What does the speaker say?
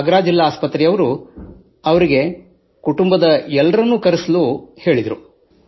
ಆಗ್ರಾ ಜಿಲ್ಲಾ ಆಸ್ಪತ್ರೆಯವರು ಇವರಿಗೆ ಕುಟುಂಬದವರನ್ನೂ ಕರೆಸಲು ಹೇಳಿದರು